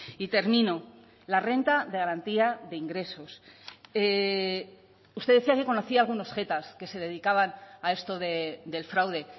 y termino la renta de garantía de ingresos usted decía que conocía algunos jetas que se dedicaban a esto del fraude